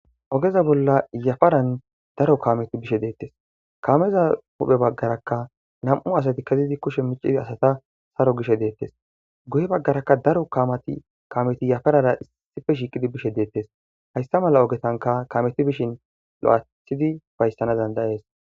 ogeza bolla yafaran daro kameti bishe deettes kameza huphe baggarakka nam7u asati kezidi kushe micidi asata saro gishe deettes guye baggaraka daro kamati kameti yafarara issife shiiqidi bishe deettes hayssa mala ogetanka kameti bishin lo7athidi fayssana dandayees